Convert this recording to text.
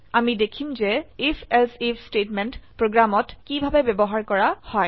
আমি দেখিম যে IfElse আইএফ স্টেটমেন্ট প্ৰোগ্ৰামত কিভাবে ব্যবহাৰ কৰা হয়